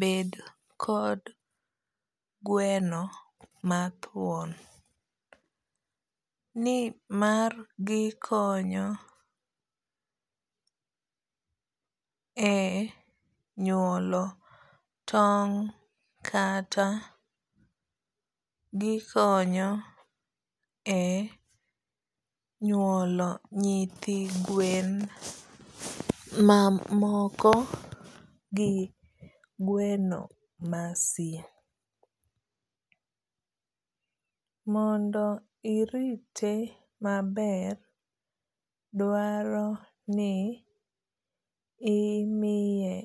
bed kod gweno mathuon ni mar gikonyo e nyuolo tong' kata gikonyo e nyuolo nyithi gwen mamoko gi gweno ma si. Mondo irite maber dwaro ni imiye.